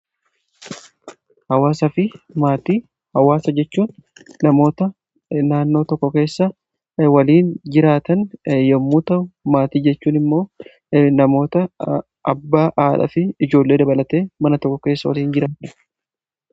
hawaasa fi maatii hawaasa jechuun namoota naannoo tokko keessa waliin jiraatan yommuu ta'u maatii jechuun immoo namoota abbaa haadha fi ijoollee dabalate mana tokko keessa waliin jiraande